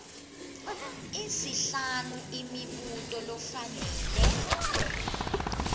isihlanu imibuto lofanele